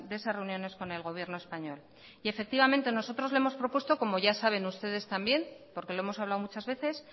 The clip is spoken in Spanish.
esas reuniones con el gobierno español y efectivamente nosotros le hemos propuesto al gobierno español como ya saben ustedes también porque lo hemos hablado muchas veces